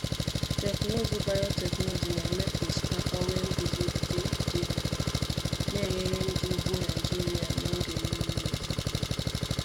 Teknụzụ biotechnology na-eme ka osikapa nwee nguzogide ide mmiri, na-enyere ndị ugbo Naijiria n’oge mmiri ozuzo.